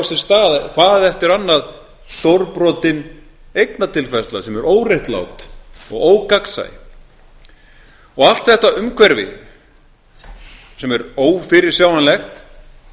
sér stað hvað eftir annað stórbrotin eignatilfærsla sem er óréttlát og ógagnsæ og allt þetta umhverfi sem er ófyrirsjáanlegt